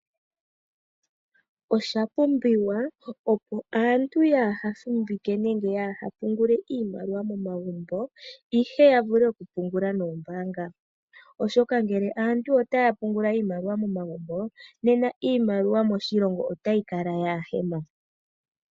Oshapumbiwa opo aantu yaahafuvike nenge yaaha pungule iimaliwa momagumbo ihe yavule okupungula noombaanga, oshoka ngeke aantu otaya pungula iimaliwa momagumbo nena iimaliwa moshilongo otayikala yaahemo.